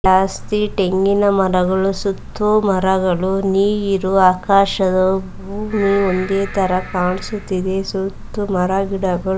ಜಾಸ್ತಿ ಟೆಂಗಿನ ಮರಗಳು ಸುತ್ತು ಮರಗಳು ನೀರು ಆಕಾಶದ ಭೂಮಿ ಒಂದೇ ತರ ಕಾಣಿಸುತಿದೆ ಸುತ್ತು ಮರ ಗಿಡಗಳು --